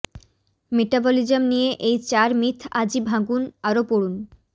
metabolism নিয়ে এই চার মিথ আজই ভাঙুন আরও পড়ুন